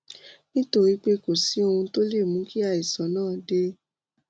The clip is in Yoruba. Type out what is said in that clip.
nítorí pé kò sí ohun tó lè mú kí àìsàn náà dé